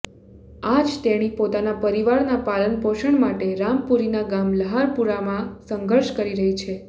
આજ તેણી પોતાના પરિવારના પાલન પોષણ માટે રામપુરીનાં ગામ લુહારપુરામાં સંઘર્ષ કરી રહી છે